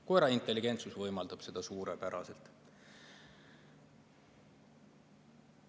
Koera intelligentsus võimaldab seda suurepäraselt.